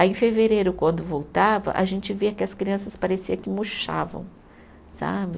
Aí em fevereiro, quando voltava, a gente via que as crianças parecia que murchavam, sabe?